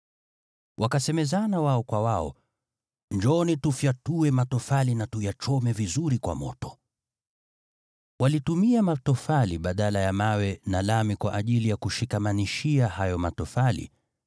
Wakasemezana wao kwa wao, “Njooni, tufyatue matofali na tuyachome vizuri kwa moto.” Walitumia matofali badala ya mawe, na lami kwa ajili ya kushikamanishia hayo matofali.